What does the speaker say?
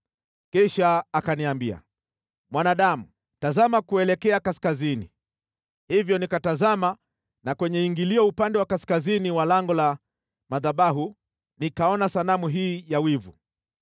Kisha akaniambia, “Mwanadamu, tazama kuelekea kaskazini.” Hivyo nikatazama na kwenye ingilio upande wa kaskazini wa lango la madhabahu, nikaona sanamu hii ya wivu.